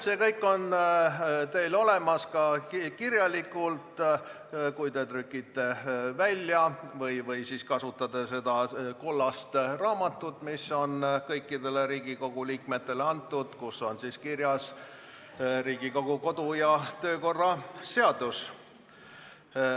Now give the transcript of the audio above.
See kõik on teil kirjalikult olemas, kui trükite välja või võtate ette selle kollase raamatu, mis on antud kõikidele Riigikogu liikmetele ning kus on kirjas Riigikogu kodu- ja töökorra seadus.